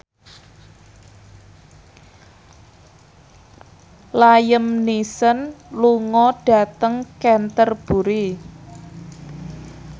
Liam Neeson lunga dhateng Canterbury